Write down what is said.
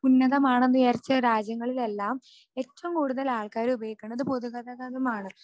ഉന്നതമാണെന്ന് വിചാരിച്ച രാജ്യങ്ങളിലെല്ലാം ഏറ്റവും കൂടുതൽ ആൾക്കാരുപയോഗിക്കണത് പൊതുഗതാഗതമാണ്.